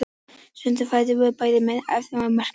Sundrun fæðunnar bæði með efnafræðilegum og mekanískum aðferðum.